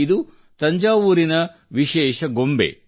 ಇದು ತಂಜಾವೂರಿನ ವಿಶೇಷ ಬೊಂಬೆ